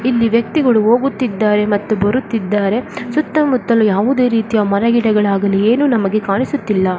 ಇಲ್ಲಿ ವ್ಯಕ್ತಿಗಳು ಹೋಗುತ್ತಿದ್ದಾರೆ ಮತ್ತು ಬರುತ್ತಿದ್ದಾರೆ ಸುತ್ತಮುತ್ತಲೂ ಯಾವುದೇ ರೀತಿಯ ಮರಗಿಡಗಳಾಗಲೀ ಏನು ನಮಗೆ ಕಾಣುಸುತ್ತಿಲ್ಲ .